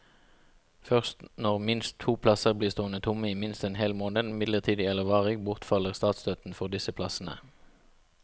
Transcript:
Først når minst to plasser blir stående tomme i minst en hel måned, midlertidig eller varig, bortfaller statsstøtten for disse plassene.